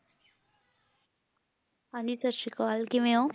ਹਾਂਜੀ ਸਤਿ ਸ੍ਰੀ ਅਕਾਲ ਕਿਵੇਂ ਊ